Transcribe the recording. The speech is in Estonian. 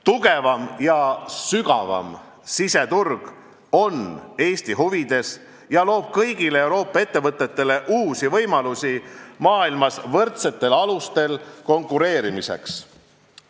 Tugevam ja sügavam siseturg on Eesti huvides ja loob kõigile Euroopa ettevõtetele uusi võimalusi maailmas võrdsetel alustel konkureerida.